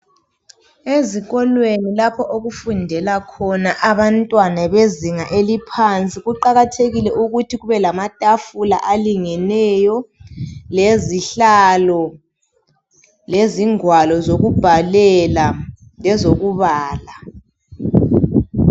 Ezikolweni lapho okufundela khona abantwana bezinga eliphansi kuqakathekile ukuthi kube lamatafula alingeneyo lezihlalo lezi ngwalo zokubhalela lezokubala.